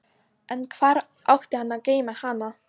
En hvar átti hann að geyma hana?